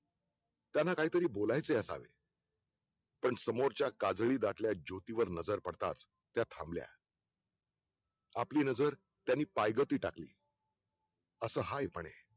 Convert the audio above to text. त्यांना काहीतरी बोलायचे असावे पण समोरच्या काजळी दाटेवर जातीवर नजर पडतास त्या थांबल्या आपली नजर त्यांनी पयगती टाकली असं हाय म्हणे